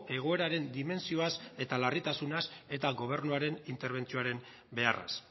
egoeraren dimentsioaz eta larritasunaz eta gobernuaren interbentzioaren beharraz